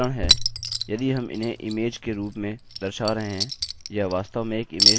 इसका कारण है यदि हम इन्हें इमेज के रूप में दर्शा रहे हैं यह वास्तव में एक इमेज नहीं है और यह भी असल में इमेज नहीं है